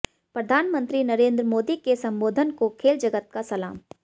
प्रधानमंत्री नरेंद्र मोदी के संबोधन को खेल जगत का सलाम